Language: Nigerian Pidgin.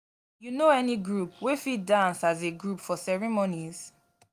you no any group wey fit dance as a group for ceremonies?